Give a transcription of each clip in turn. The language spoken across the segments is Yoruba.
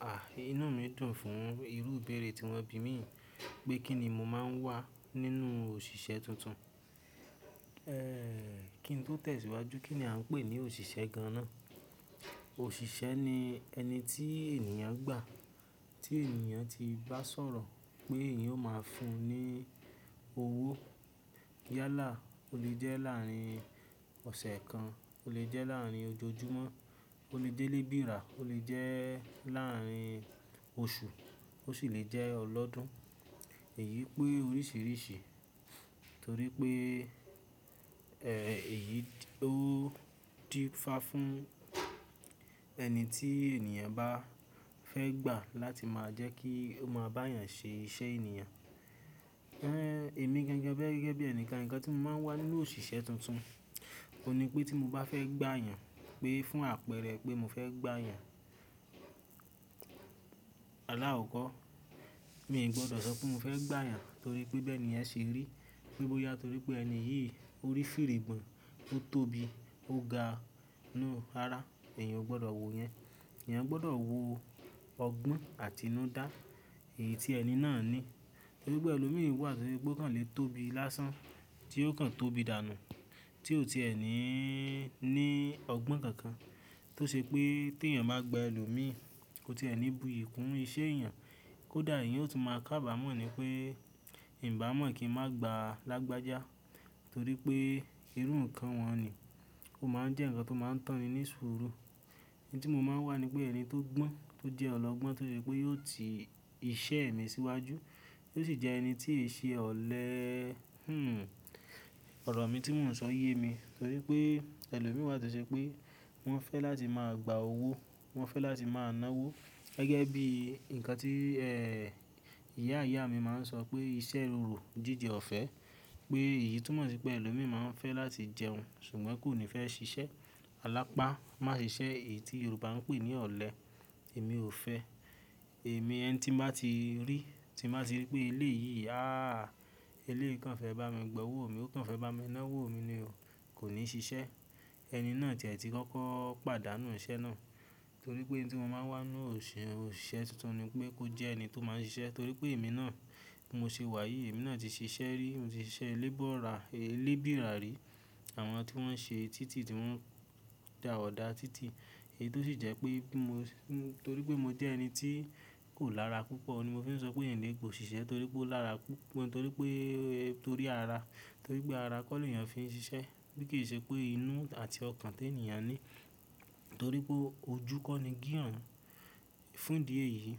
A! Inú mi dùn fún irú ìbéèrè tí wọ́n bi mí pé kí ni mo máa ń wà nínú òṣìṣẹ́ tuntun. Ehn, kí n tó tẹ̀síwájú, kí ni a ń pè ní òṣìṣẹ́ gan-an. Òṣìṣẹ́ ni ẹni tí ènìyàn gbà, tí ènìyàn ti bá sọ̀rọ̀ pé ènìyàn o máa fún un ní owó. Yálà, ó lè jẹ́ láàárín ọ̀sẹ̀ kan, ó lè jẹ́ láàárín ojojúmọ́, ó lè jẹ́ lébìrà, ó lè jẹ́ láàárín oṣù ó sì lè jẹ́ ọlọ́dún. Èyí pé oríṣìíríṣìí torí pé, ẹh, èyí ó dí fá fún ẹni tí ènìyàn bá fẹ́ gbà láti máa jẹ́ kí ó máa bá èèyàn ṣe iṣẹ́ ènìyàn. Ehn, èmi gẹ́gẹ́ bí ẹ̀ni kan nǹkan tí mo máa ń wà nínú òṣìṣẹ́ tuntun, òun ní pé tí mo bá fẹ́ gbà èèyàn pé fún àpẹẹrẹ pé mo fẹ́ gbà èèyàn, alakọkọ, mi ò gbọdọ̀ sọ pé mo fẹ́ gbà èèyàn torí pé bi ẹni yẹn ṣe rí. Pe bóyá torí pé ẹni yìí ó rí firigbọn, ó tóbi, ó ga, no rara, èèyàn ò gbọdọ̀ wo yẹn. Ẹ̀yàn gbọdọ̀ wo ọgbọ́n àti inú dá èyí tí ẹni náà ní. Torí pé ẹlòmíràn wà tí ó ṣe pé ó kan lè tóbi lásán tí ó kan tóbi dànù tí ò ti ẹ ní ní ọgbọ́n kankan tó ṣe pé tí èèyàn bá gba ẹlòmíràn, kò ti ẹ ní bu iyì kún iṣẹ́ èèyàn. Kódà èèyàn ó tún máa kábàámọ̀ ni pé Ìn bàmọ̀ kí n má gba lágbájá torí pé irú nǹkan wọn ni. Ó máa ń jẹ́ nǹkan tó máa ń tán ni ní ṣúùrù. Iñ tí mo máa ń wà ni pé ẹni tó gbọ́n, tó jẹ́ ọlọ́gbọ́n tó ṣe pé yóò tì iṣẹ́ mi síwájú tó sì jẹ ẹni tí kí ṣe ọ̀lẹ́, hm, ọ̀rọ̀ mi tí mò ń sọ yé mi. Torí pé ẹlòmíi wa tó ṣe pé wọ́n fẹ́ láti máa gba owó, wọ́n fẹ́ láti máa ná owó gẹ́gẹ́ bí nǹkan tí, eh, ìyá ìyá mi máa ń sọ pé iṣẹ́ rorò jíjẹ ọ̀fẹ́. Pé èyí túmọ̀ sí pé ẹlòmíràn máa ń fẹ́ láti jẹun ṣùgbọ́n kò ní fẹ́ ṣiṣẹ́. Alápá má ṣe iṣẹ́ èyí tí Yorùbá ń pè ní ọ̀lẹ. Èmi ò fẹ́. Èmi ẹni tí mo bá ti rí, tí mo bá ti rí pé eleyìí, ah, eléyìí kan fẹ́ bá mi gba owó mi, ó kan fẹ́ bá mi ná owó mi ni o, kò ní ṣiṣẹ́. Ẹni náà ti ẹ̀ ti kọ́kọ́ pàdánù iṣẹ́ náà. Torí pé i ń tí mo máa ń wà nínú òṣìṣẹ́ tuntun ni pé kó jẹ́ ẹni tó máa ń ṣiṣẹ́ torí pé èmi náà bi mo ṣe wà yìí, èmi náà ti ṣiṣẹ́ rí, mo ti ṣiṣẹ́ lébọ̀rà, lébìrà rí. Àwọn tí wọ́n ṣe títì tí wọ́n dà ọ̀dà títì èyí tó sì jẹ́ pé bi mo, torí pé mo jẹ́ ẹni tí kò lára púpọ̀ ni mo fi ń sọ pé ń lè gba òṣìṣẹ́ torí pé ó lára pu-- torí pé, torí ara, torí pé ara kọ́ ni èèyàn fi ń ṣiṣẹ́. Bí kì í ṣe pé inú àti ọkàn tí èèyàn ní. Torí pé ojú kọ́ ni gíràn-án. Fún idì éyìí,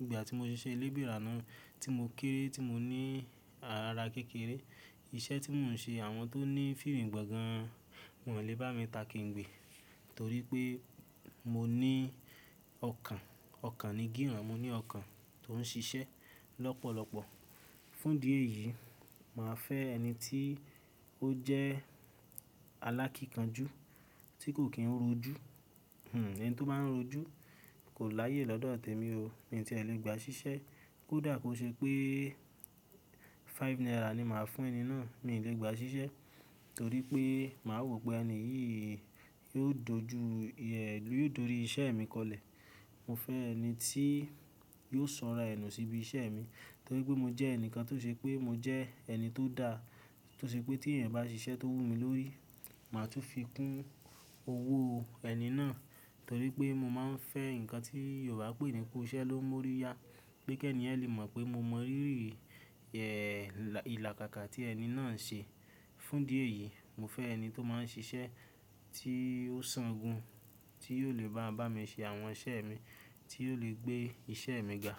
ìgbà tí mo ṣe iṣẹ́ lébìrà náà tí mo kéré tí mo ní ara kékeré, iṣẹ́ tí mò ń ṣe àwọn tó ní firigbọn gan-an wọn o lè bá mi ta kengbe. Torí pé mo ní ọkàn, ọkàn ni kí hàn. Mo ní ọkàn tó ń ṣiṣẹ́ lọ́pọ̀lọ́pọ̀. Fún dì é yìí, màá fẹ́ ẹni tí ó jẹ́ alákìkanjú tí kò kí ń rojú. Hmm, ẹni tó máa ń rojú kò láyè lọ́dọ̀ t'emi o. Mi i tí ẹ lè gba ṣiṣẹ́. Kódà ko ṣe pé five naira ni màá fún ẹni náà, mi ò lè gba ṣiṣẹ́ torí pé màá rò pé ẹni yìí yóò dojú, yóò dorí iṣẹ́ mi kọlẹ̀. Mo fẹ́ ẹni tí yóò sọ'ra ẹ nu síbi iṣẹ́ mi torí pé mo jẹ́ ẹnìkan tó ṣe pé mo jẹ́ ẹni tó dá tó ṣe pé tí èèyàn bá ṣiṣẹ́ tó wú mi lórí, màá tún fi kún owó ẹni náà. Torí pé mo máa ń fẹ́ nǹkan tí Yorùbá pè ní ku iṣẹ́ ló n mú orí ya. Bí kẹ́ẹ̀ni yẹn lè mọ̀ pé mo mọ rírì, eh, ìlàkàkà tí ẹni náà ń ṣe. Fún idì é yìí, mo fẹ́ ẹni tó máa ń ṣiṣẹ́ tí ó san gun, tí yóò lè bá bá mi ṣe àwọn iṣẹ́ mi, tí yóò lè gbé iṣẹ́ mi ga.